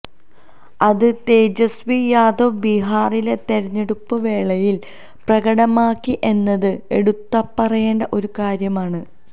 അത് തേജസ്വി യാദവ് ബീഹാറിലെ തിരഞ്ഞെടുപ്പ് വേളയിൽ പ്രകടമാക്കി എന്നത് എടുത്തുപറയേണ്ട ഒരു കാര്യമാണ്